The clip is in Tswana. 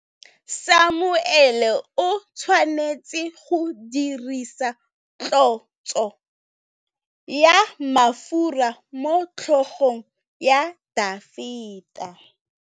Samuele o tshwanetse go dirisa tlotsô ya mafura motlhôgong ya Dafita.